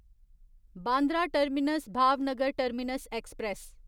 Bandra terminus Bhavnagar terminus express